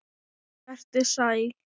Vertu sæl!